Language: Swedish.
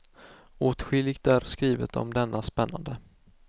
Åtskilligt är skrivet om denna spännande.